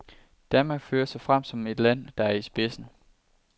Danmark fører sig frem som et land, der er i spidsen.